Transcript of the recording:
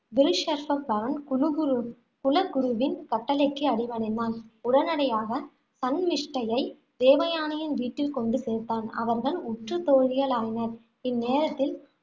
குலுகுருவின் குலகுருவின் கட்டளைக்கு அடிபணிந்தான். உடனடியாக சன்மிஷ்டையை தேவயானையின் வீட்டில் கொண்டு சேர்த்தான். அவர்கள் உற்ற தோழிகளாயினர். இந்நேரத்தில்